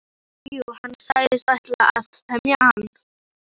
Jú, jú, hann sagðist ætla að temja hann.